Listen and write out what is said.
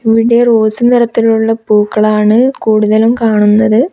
ഇവിടെ റോസ് നിറത്തിലുള്ള പൂക്കളാണ് കൂടുതലും കാണുന്നത്.